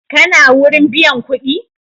Kana wurin biyan kuɗi?